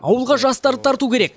ауылға жастарды тарту керек